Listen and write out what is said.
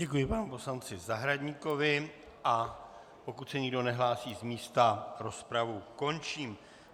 Děkuji panu poslanci Zahradníkovi, a pokud se nikdo nehlásí z místa, rozpravu končím.